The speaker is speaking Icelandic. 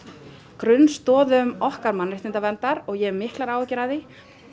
grunnstoðum okkar mannréttindaverndar og ég hef miklar áhyggjur af því